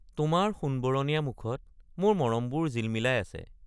তোমাৰ সোণবৰণীয়া মুখত মোৰ মৰমবোৰ জিলমিলাই আছে।